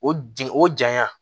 O di o janɲa